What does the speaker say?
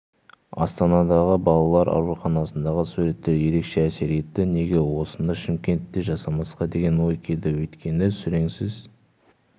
астанадағы балалар ауруханасындағы суреттер ерекше әсер етті неге осыны шымкентте жасамасқа деген ой келді өйткені сүреңсіз